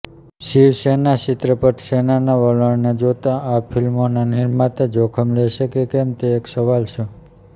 શિવસેના ચિત્રપટસેનાના વલણને જોતા આ ફિલ્મોના નિર્માતા જોખમ લેશે કે કેમ તે એક સવાલ છે